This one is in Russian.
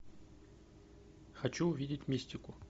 хочу увидеть мистику